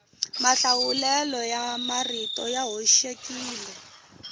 mahlawulelo ya marito ya hoxekile